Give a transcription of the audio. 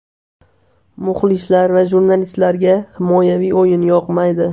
Muxlislar va jurnalistlarga himoyaviy o‘yin yoqmaydi.